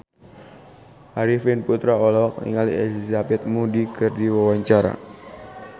Arifin Putra olohok ningali Elizabeth Moody keur diwawancara